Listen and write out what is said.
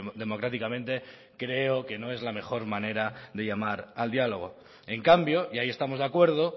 democráticamente creo que no es la mejor manera de llamar al diálogo en cambio y ahí estamos de acuerdo